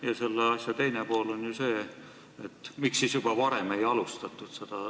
Ja selle küsimuse teine pool on, miks seda protsessi varem ei alustatud.